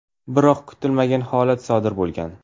Biroq kutilmagan holat sodir bo‘lgan.